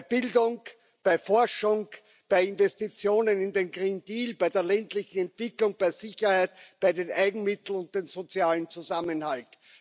Bei Bildung, bei Forschung, bei Investitionen in den Green Deal bei der ländlichen Entwicklung, bei Sicherheit, bei den Eigenmitteln und dem sozialen Zusammenhalt.